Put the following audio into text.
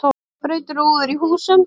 Braut rúður í húsum